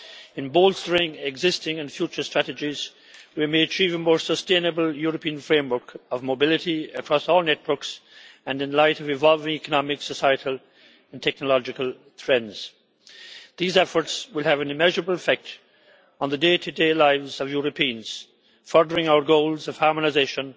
In bolstering existing and future strategies, we may achieve a more sustainable European framework of mobility across all networks, and in light of evolving economic, societal and technological trends. These efforts will have an immeasurable effect on the day-to-day lives of Europeans, furthering our goals of harmonisation,